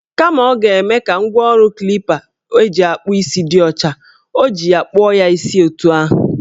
Kama ọ g-eme ka ngwaọrụ klipa eji akpụ isi dị ọcha, o ji ya kpụọ ya isi etu ahụ.